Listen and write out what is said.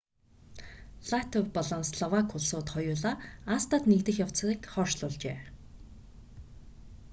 латви болон словак улсууд хоёулаа acta-д нэгдэх явцыг хойшлуулжээ